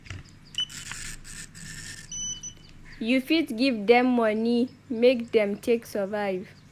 You fit give dem money make dem take survive